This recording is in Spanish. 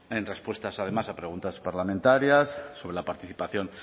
en respuestas además a preguntas parlamentarias sobre la participación